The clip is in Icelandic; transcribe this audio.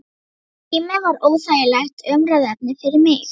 Sá tími var óþægilegt umræðuefni fyrir mig.